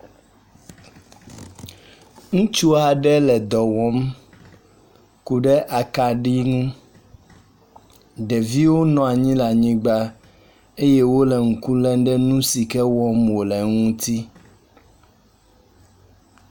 Ŋutsu aɖe le dɔ wɔm ku ɖe akaɖi ŋu. Ɖeviwo nɔ anyi ɖe anyigba eye wo le ŋku lem ɖe nu si ke wɔm wo le ŋutsi.